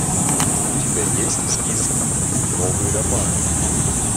у тебя есть в списке новый роман